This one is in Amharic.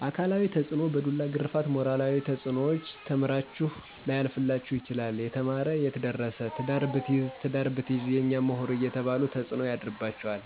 አካላዊ ተፅኖዎች፣ በዱላ ግረፍት ሞራላዊ ተፅኖዎች፣ ተምራችሁ ላያልፈላችሁ ይችላል የተማር የትደርስ ትዳር ብትይዝ ትዳር ብትይዥ የኛ ሙሁር አየተባሉ ተፅኖ ያድርባቸዋል።